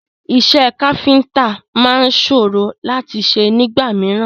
Iṣẹ́ káfíntà máa sòrò láti ṣe nígbà mìíràn.